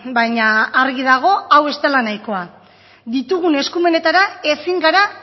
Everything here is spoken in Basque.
baina argi dago hau ez dela nahikoa ditugun eskumenetara ezin gara